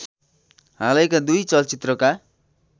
हालैका दुई चलचित्रका